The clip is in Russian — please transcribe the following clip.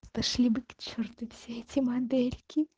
пошли бы к черту все эти модельки